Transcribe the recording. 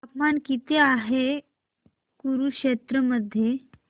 तापमान किती आहे कुरुक्षेत्र मध्ये